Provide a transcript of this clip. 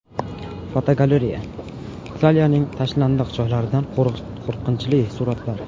Fotogalereya: Italiyaning tashlandiq joylaridan qo‘rqinchli suratlar.